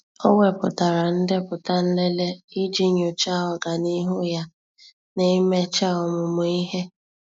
Ọ́ wèpụ̀tárà ndepụta nlele iji nyòcháá ọ́gànihu ya na íméchá ọ́mụ́mụ́ ihe.